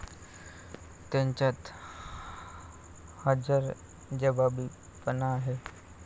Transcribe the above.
त्यांच्यात हजरजबाबीपणा आहे.